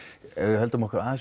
höldum okkur aðeins